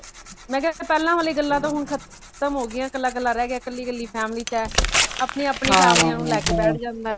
ਮੈਂ ਕਯਾ ਪਹਿਲਾਂ ਵਾਲੀ ਗਲਾ ਹੁਣ ਤੇ ਖ਼ਤਮ ਹੋ ਗਇਆ ਕਲਾ ਕਲਾ ਰਹ ਗਯਾ ਕਲੀ ਕਲੀ family ਚ ਹੈ ਆਪਣੀ ਆਪਣੀ family ਨੂੰ ਲੇਯ ਕੇ ਬੇਠ ਜਾਂਦੇ